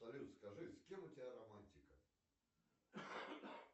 салют скажи с кем у тебя романтика